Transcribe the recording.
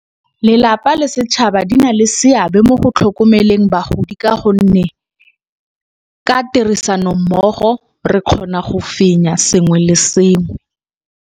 Lelapa le setšhaba di na le seabe mo go tlhokomeleng bagodi ka gonne, ka tirisano mmogo re kgona go fenya sengwe le sengwe.